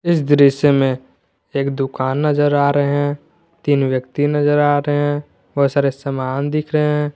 इस दृश्य में एक दुकान नजर आ रहे तीन व्यक्ति नजर आ रहे बहोत सारे सामान दिख रहे--